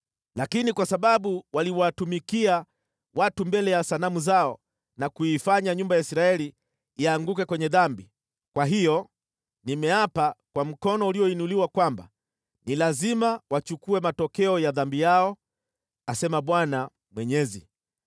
Lakini kwa sababu waliwatumikia watu mbele ya sanamu zao na kuifanya nyumba ya Israeli ianguke kwenye dhambi, kwa hiyo nimeapa kwa mkono ulioinuliwa kwamba ni lazima wachukue matokeo ya dhambi yao, asema Bwana Mwenyezi.